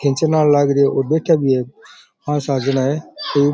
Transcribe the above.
खींचना आलो लाग रहियो और बैठ्या भी है पांच सात जना है।